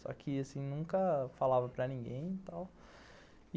Só que assim, nunca falava para ninguém e tal.